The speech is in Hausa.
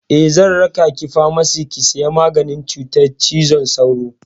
Eh, zan raka ki famasi ki saya maganin cutar cizon sauro.